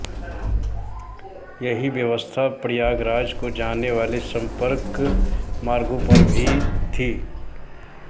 यहीं व्यवस्था प्रयागराज को जाने वाले संपर्क मार्गों पर भी थी